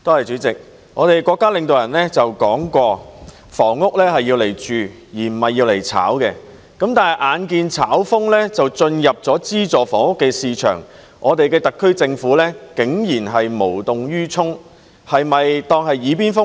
主席，國家領導人曾說，房屋是用來居住的，不是用來炒賣的，但眼見"炒風"已進入資助房屋市場，特區政府竟然無動於衷，它是否當作"耳邊風"呢？